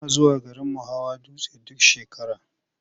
Muna zuwa garinmu hawa dutse duk shekara.